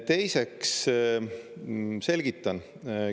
Teiseks selgitan.